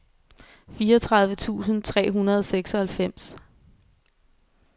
fireogtredive tusind tre hundrede og seksoghalvfems